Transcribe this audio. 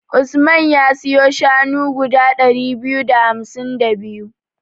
Usman ya siyo shanu guda ɗari biyu da hamsin da biyu.